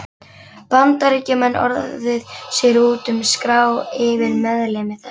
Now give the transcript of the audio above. Bandaríkjamenn orðið sér úti um skrá yfir meðlimi þess.